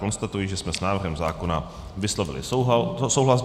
Konstatuji, že jsme s návrhem zákona vyslovili souhlas.